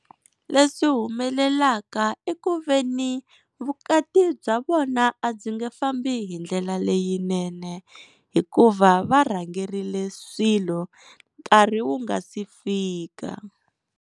Leswi humelelaka i ku veni vukati bya vona a ndzi nge fambi hi ndlela leyinene hikuva varhangerile swilo nkarhi wu nga si fika.